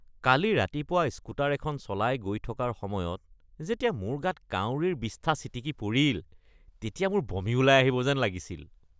কালি ৰাতিপুৱা স্কুটাৰ এখন চলাই গৈ থকাৰ সময়ত যেতিয়া মোৰ গাত কাউৰিৰ বিষ্ঠা ছিটিকি পৰিল তেতিয়া মোৰ বমি ওলাই আহিব যেন লাগিছিল।